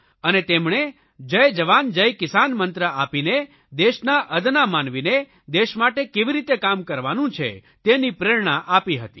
અને તેમણે જય જવાન જય કિસાન મંત્ર આપીને દેશના અદના માનવીને દેશ માટે કેવી રીતે કામ કરવાનું છે તેની પ્રેરણા આપી હતી